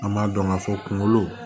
An m'a dɔn ka fɔ kunkolo